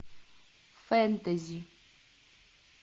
фэнтези